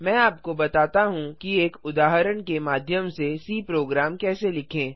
मैं आपको बताता हूँ कि एक उदाहरण के माध्यम से सी प्रोग्राम कैसे लिखें